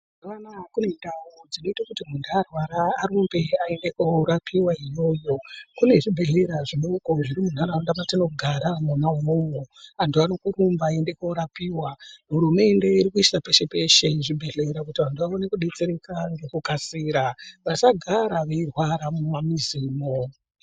Mazuvano aya kunendau dzinoite kuti muntu arwara arumbe aende koorapiwa iyoyo. Kune zvibhedhlera zvidoko zviri muntaraunda mwatinogara mwona imwomwo. Antu arikurumba aiende koorapiwa. Hurumende irikuisa peshe-peshe zvibhedhlera kuti vantu vaone kudetsereka. Vasagara veirwara mumamwizimwo.